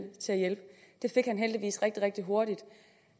det fik han heldigvis rigtig rigtig hurtigt